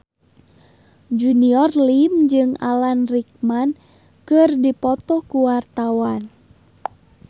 Junior Liem jeung Alan Rickman keur dipoto ku wartawan